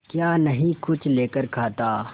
क्या नहीं कुछ लेकर खाता